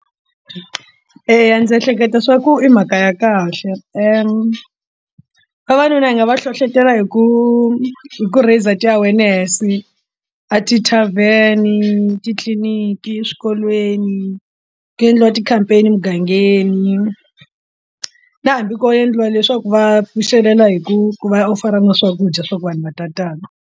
Eya ndzi ehleketa swa ku i mhaka ya kahle vavanuna hi nga va hlohlotela hi ku hi ku raise ti-awareness a ti-tarven etitliniki eswikolweni ku endliwa ti-campaign emugangeni na hambi ko endliwa leswaku va pfuxelela hi ku ku va u fana na swakudya swa ku vanhu va ta tala.